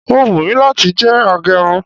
o wùnmi lati jẹ agerun